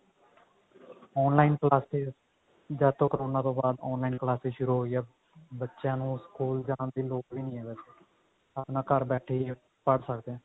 online classes ਜਦ ਤੋਂ corona ਤੋਂ ਬਾਅਦ online classes ਸ਼ੁਰੂ ਹੋਈਆਂ ਬੱਚਿਆਂ ਨੂੰ ਸਕੂਲ ਜਾਣ ਦੀ ਲੋੜ ਹੀ ਨੀ ਹੈ ਵੇਸੇ ਆਪਣਾ ਘਰ ਬੈਠੇ ਹੀ ਪੜ੍ਹ ਸਕਦੇ ਹਾਂ